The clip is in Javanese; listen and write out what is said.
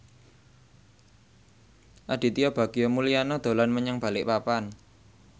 Aditya Bagja Mulyana dolan menyang Balikpapan